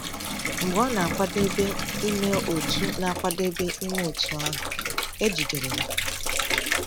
Mgbe ọ na-akwadebe ime otú na-akwadebe ime otú ahụ, e jidere ya.